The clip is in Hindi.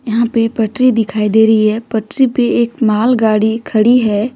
यहां पे पटरी दिखाई दे रही है पटरी पे एक माल गाड़ी खड़ी है।